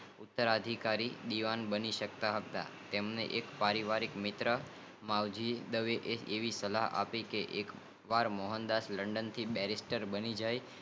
ઉત્તરાધિકારી દેવાં બની સકતા હતા તેમને પારિવારિક મિત્ર મનજી દવે એ આવી સલાહ આપી કે એક વાર મોહનદાસ લંડન થી બેરિસ્ટ બની જાય